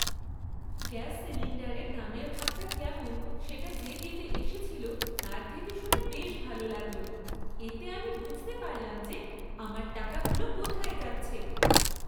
Gas সিলিন্ডারের দামের ভাগটা কেমন সেটা যে দিতে এসেছিল তার থেকে শুনে বেশ ভালো লাগল। এতে আমি বুঝতে পারলাম যে আমার টাকাগুলো কোথায় যাচ্ছে।